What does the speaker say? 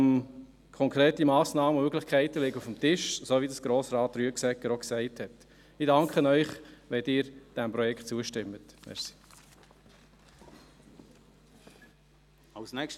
Konkrete Massnahmen und Möglichkeiten liegen auf dem Tisch, so wie es Grossrat Rüegsegger auch gesagt hat.